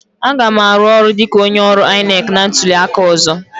Aga m arụ ọrụ dịka onye ọrụ INEC na ntuli aka ọzọ.